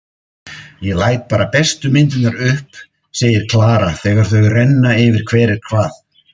Ég læt bara bestu myndirnar upp, segir Klara þegar þau renna yfir hver er hvað.